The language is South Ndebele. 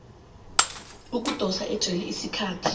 ukudosa ejele isikhathi